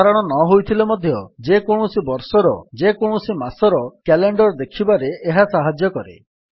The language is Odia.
ସଧାରଣ ନ ହୋଇନଥିଲେ ମଧ୍ୟ ଯେକୌଣସି ବର୍ଷର ଯେକୌଣସି ମାସର କ୍ୟାଲେଣ୍ଡର୍ ଦେଖିବାରେ ଏହା ସାହାଯ୍ୟ କରେ